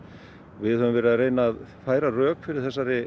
við höfum verið að reyna að færa rök fyrir